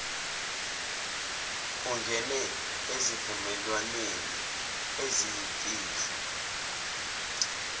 ungene ezivumelwaneni eziyimfihlo